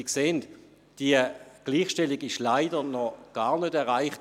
Sie sehen, die Gleichstellung ist leider noch gar nicht erreicht.